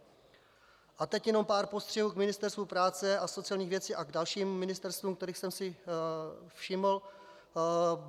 A teď jenom pár postřehů k Ministerstvu práce a sociálních věcí a k dalším ministerstvům, kterých jsem si všiml.